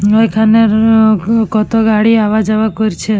ঐখানে-র-অ-গ কত গাড়ি আওয়া যাওয়া করছে।